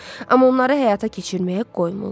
Amma onları həyata keçirməyə qoymurlar.